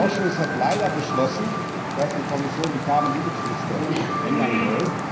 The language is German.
Der Ausschuss hat leider beschlossen, dass die Kommission die Carbon leakage Liste ändern soll.